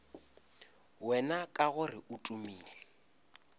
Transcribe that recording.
wena ka gore o tumile